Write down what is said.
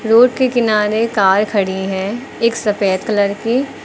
Road के किनारे car खड़ी है एक सफेद कलर की।